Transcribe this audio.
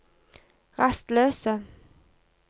rastløse